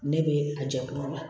Ne bɛ a jɛ kuma la